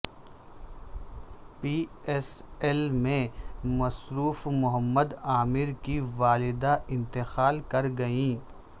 پی S L میں مصروف محمد عامر کی والدہ انتقال کر گئیں